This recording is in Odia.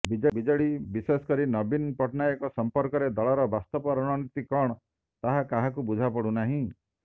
ବିେଜଡି ବିେଶଷକରି ନବୀନ ପଟ୍ଟନାୟକଙ୍କ ସଂପର୍କରେ ଦଳର ବାସ୍ତବ ରଣନୀତି କଣ ତାହା କାହାକୁ ବୁଝାପଡୁନାହିଁ